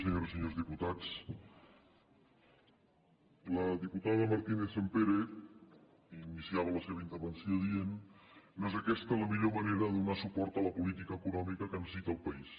senyores i senyors diputats la diputada martínez sampere iniciava la seva intervenció dient no és aquesta la millor manera de donar suport a la política econòmica que necessita el país